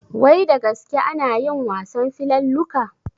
Wai da gaske anayin wasan filalluka?